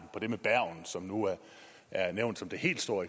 på det med bergen som er nævnt som det helt store